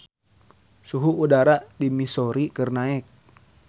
Suhu udara di Missouri keur naek